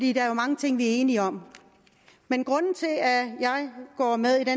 er jo mange ting vi er enige om men grunden til at jeg går med i det